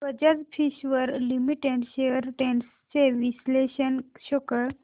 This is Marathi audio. Bajaj Finserv limited shares trends चे विश्लेषण शो कर